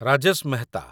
Rajesh Mehta